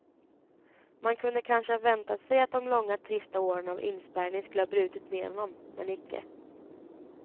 Man kunde kanske ha väntat sig, att de långa trista åren av inspärrning skulle ha brutit ned honom, men icke.